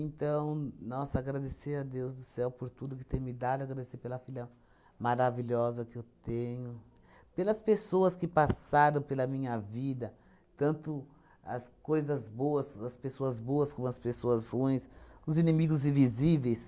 nossa, agradecer a Deus do céu por tudo que tem me dado, agradecer pela filha maravilhosa que eu tenho, pelas pessoas que passaram pela minha vida, tanto as coisas boas, as pessoas boas como as pessoas ruins, os inimigos invisíveis,